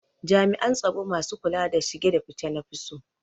Jami'an tsaro masu kula da shige da fice na fi so